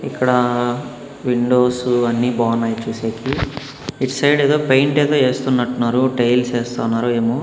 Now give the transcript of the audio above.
ఇక్కడా విండోస్ అన్ని బాగున్నాయి చూసేకి. ఇటు సైడు ఏదో పెయింట్ ఏదో యేస్తున్నట్టు ఉన్నారు టైల్స్ యేస్తున్నారు ఏమో.